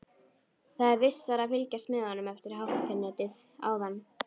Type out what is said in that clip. Það er vissara að fylgjast með honum eftir hátternið áðan.